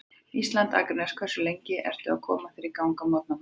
Ísland, Akranes Hversu lengi ertu að koma þér í gang á morgnanna?